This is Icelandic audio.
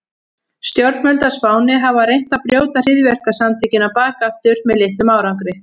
Stjórnvöld á Spáni hafa reynt að brjóta hryðjuverkasamtökin á bak aftur með litlum árangri.